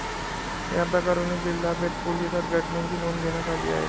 याप्रकरणी जिल्हा पेठ पोलीसात घटनेची नोंद घेण्यात आली आहे.